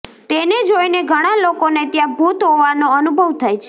તેને જોઇને ઘણા લોકોને ત્યાં ભૂત હોવાનો અનુભવ થાય છે